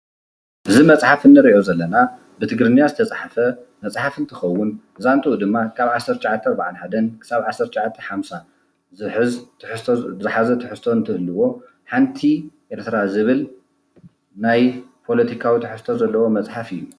እዚ መፅሓፍ እንርኦ ዘለና ብትግርኛ ዝተፃሓፈ መፅሓፍ እንትኸውን ዛንቱኡ ድማ 1941-1950 ዝሓዘ ትሕዝቶ እንትህልዎ ሓንቲ ኤርትራ ዝብል ናይ ፖለቲካዊ ትሕዝቶ ዘለዎ መፅሓፍ እዩ።